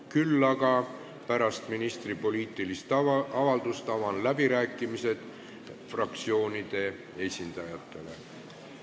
Küll aga avan pärast ministri poliitilist avaldust läbirääkimised fraktsioonide esindajatele.